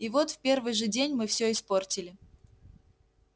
и вот в первый же день мы всё испортили